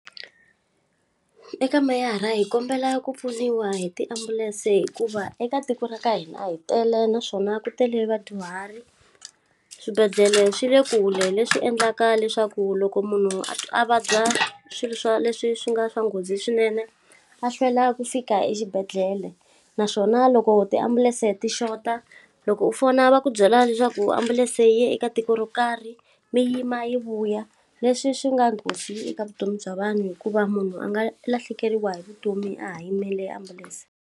Eka meyara hi kombela ku pfuniwa hi tiambulense hikuva eka tiko ra ka hina hi tele naswona ku tele vadyuhari. Swibedlhele swi le kule leswi endlaka leswaku loko munhu a vabya swilo swa leswi swi nga swa nghozi swinene, a hlwela ku fika exibedhlele. Naswona loko tiambulense ti xota, loko u fona va ku byela leswaku ambulense yi ye eka tiko ro karhi, mi yima yi vuya. Leswi swi nga nghozi eka vutomi bya vanhu hikuva munhu a nga lahlekeriwa hi vutomi a ha yimele ambulense.